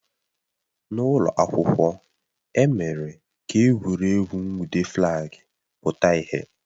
N'ụlọ akwụkwọ, e mere ka egwuregwu nwude flaagi pụta ìhè